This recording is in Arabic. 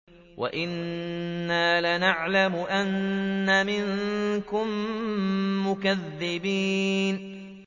وَإِنَّا لَنَعْلَمُ أَنَّ مِنكُم مُّكَذِّبِينَ